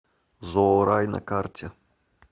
зоорай на карте